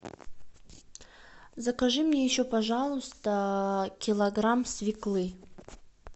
закажи мне еще пожалуйста килограмм свеклы